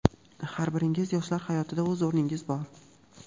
har biringizni yoshlar hayotida o‘z o‘rningiz bor.